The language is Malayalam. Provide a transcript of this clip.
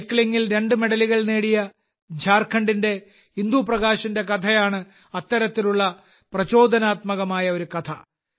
സൈക്ലിങ്ങിൽ രണ്ട് മെഡലുകൾ നേടിയ ഝാർഖണ്ഡിന്റെ ഇന്ദു പ്രകാശിന്റെ കഥയാണ് അത്തരത്തിലുള്ള പ്രചോദനാത്മകമായ ഒരു കഥ